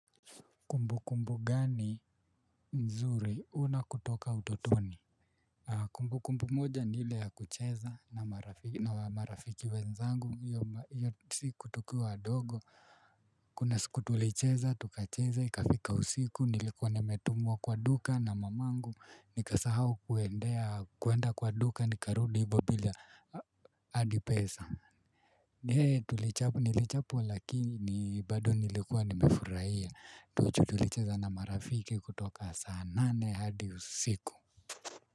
Kumbu kumbu gani nzuri una kutoka utotoni? Kumbu kumbu moja ni ile ya kucheza na marafiki wenzangu hiyo siku tukiwa wadogo. Kuna siku tulicheza tukacheza ikafika usiku, nilikuwa nimetumwa kwa duka na mamangu nikasahau kuendea, kuenda kwa duka nikarudi hibo bila hadi pesa. Tulichap, nilichapwa lakini bado nilikuwa nimefurahia tu juu tulicheza na marafiki kutoka saa nane hadi usiku.